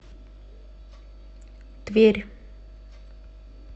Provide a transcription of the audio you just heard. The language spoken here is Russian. тверь